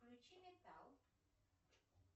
включи металл